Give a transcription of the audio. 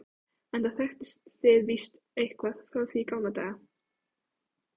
enda þekkist þið víst eitthvað frá því í gamla daga.